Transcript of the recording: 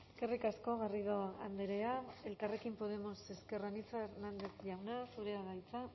eskerrik asko garrido andrea elkarrekin podemos ezker anitza hernández jauna zurea da hitza